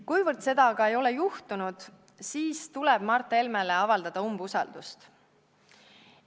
Kuivõrd seda aga ei ole juhtunud, siis tuleb Mart Helmele avaldada umbusaldust.